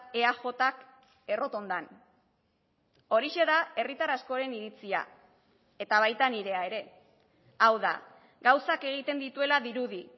eajk errotondan horixe da herritar askoren iritzia eta baita nirea ere hau da gauzak egiten dituela dirudi